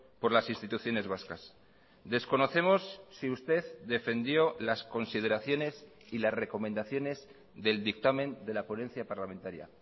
por las instituciones vascas desconocemos si usted defendió las consideraciones y las recomendaciones del dictamen de la ponencia parlamentaria